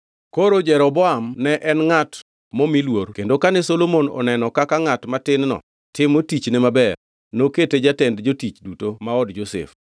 Koro Jeroboam ne en ngʼat momi luor kendo kane Solomon oneno kaka ngʼat matin-no timo tichne maber, nokete jatend jotich duto ma od Josef.